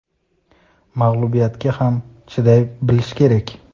Mag‘lubiyatga ham chiday bilish kerak.